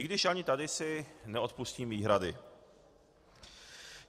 I když ani tady si neodpustím výhrady.